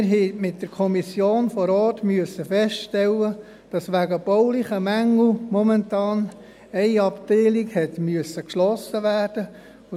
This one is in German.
Wir haben mit der Kommission vor Ort feststellen müssen, dass wegen baulichen Mängeln momentan eine Abteilung geschlossen werden musste.